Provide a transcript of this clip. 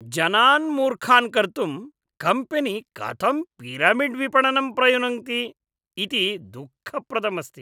जनान् मूर्खान् कर्तुं कम्पेनी कथं पिरमिड्विपणनं प्रयुनक्ति इति दुःखप्रदम् अस्ति।